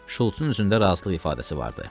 Şults-un üzündə razılıq ifadəsi vardı.